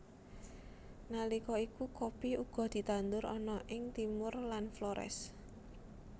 Nalika iku kopi uga ditandur ana ing Timor lan Flores